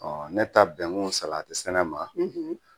Ɔ ne taa bɛnkun salatisɛnɛ ma